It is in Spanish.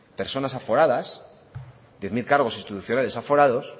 personas aforadas diez mil cargos institucionales aforados